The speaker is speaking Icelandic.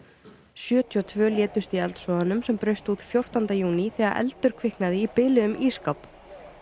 sjötíu og tveir létust í eldsvoðanum sem braust út fjórtánda júní þegar eldur kviknaði í biluðum ísskáp